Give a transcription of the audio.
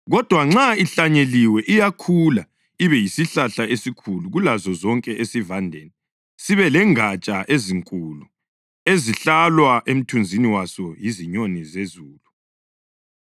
Kodwa nxa ihlanyeliwe iyakhula ibe yisihlahla esikhulu kulazo zonke esivandeni, sibe lengatsha ezinkulu ezihlalwa emthunzini waso yizinyoni zezulu.”